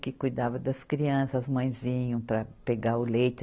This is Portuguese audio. Que cuidava das crianças, as mãezinhas vinham para pegar o leite.